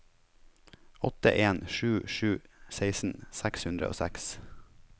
åtte en sju sju seksten seks hundre og seks